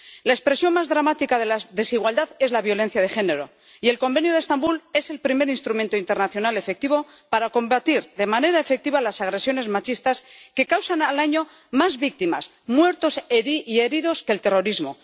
La expresión más dramática de la desigualdad es la violencia de género, y el Convenio de Estambul es el primer instrumento internacional efectivo para combatir de manera efectiva las agresiones machistas, que causan al año más víctimas, muertos y heridos que el terrorismo.